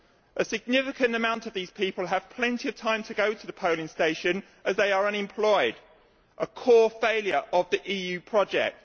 A significant number of these people have plenty of time to go to the polling station as they are unemployed, a core failure of the EU project.